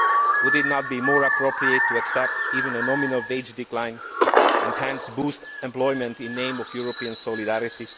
Would it not be more appropriate to accept even a nominal wage decline and hence boost employment in the name of European solidarity?